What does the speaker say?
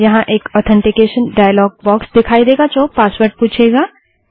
यहाँ एक authentication dialog box दिखाई देगा जो पासवर्ड पूछेगा